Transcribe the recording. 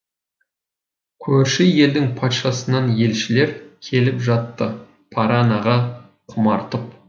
көрші елдің патшасынан елшілер келіп жатты паранаға құмартып